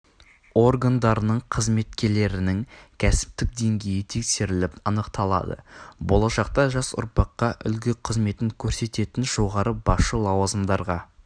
органдарының қызметкерлерінің кәсіптік деңгейі тексеріліп анықталады болашақта жас ұрпаққа үлгі қызметін көрсететін жоғары басшы лауазымдарға